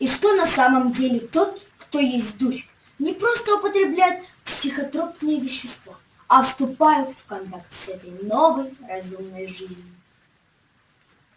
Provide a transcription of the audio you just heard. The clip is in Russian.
и что на самом деле тот кто ест дурь не просто употребляет психотропные вещество а вступает в контакт с этой новой разумной жизнью